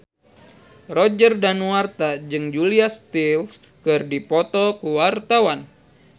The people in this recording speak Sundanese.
Roger Danuarta jeung Julia Stiles keur dipoto ku wartawan